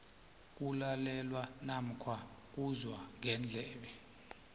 kulalelwa namkha uzwa ngendlebe